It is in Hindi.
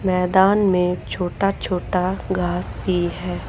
मैदान में छोटा छोटा घास भी है।